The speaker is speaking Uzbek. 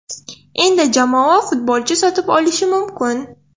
Endi jamoa futbolchi sotib olishi mumkin.